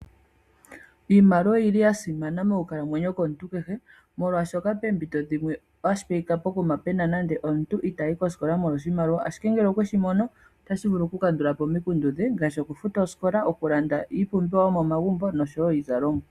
Iimaliwa oyili yasimana mokukalamwenyo komuntu kehe, molwaashoka peempito dhimwe ashipeyika poima pena nando omuntu itaayi koskola molwa oshimaliwa, ashike ngele okweshi mono otashi vulu kukandula po omikundu dhe ngaashi okufuta osikola, okulanda iipumbiwa yomomagumbo nosho wo iizalomwa.